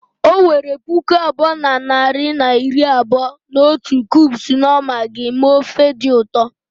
O were puku abụọ na narị na iri abụọ na otu cubes knorr Maggi mee ofe dị ụtọ